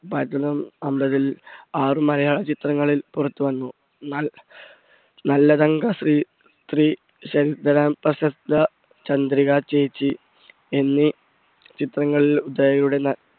അമ്പതിൽ ആറ് മഹാ ചിത്രങ്ങളിൽ പുറത്തു വന്നു പ്രശസ്ത ചന്ദ്രിക ചേച്ചി എന്നു ചിത്രങ്ങളിൽ